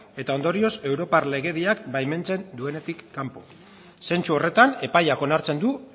eta ondorioz europar legediak baimentzen duenetik kanpo zentzu horretan epaiak onartzen du